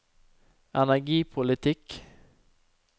energipolitikk